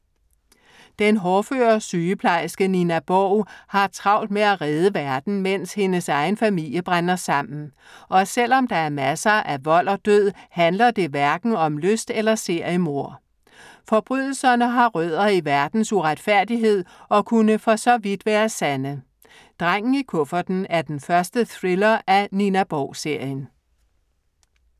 Den hårdføre sygeplejerske Nina Borg har travlt med at redde verden, mens hendes egen familie brænder sammen. Og selv om der er masser af vold og død, handler det hverken om lyst- eller seriemord. Forbrydelserne har rødder i verdens uretfærdighed og kunne for så vidt være sande. Drengen i Kufferten er den første thriller i Nina Borg-serien.